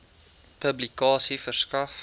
publikasie verskaf